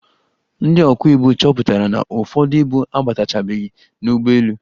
Ndị ọkwọ ibu chọpụtara na ụfọdụ ibu abatachabeghi n'ụgbọelu.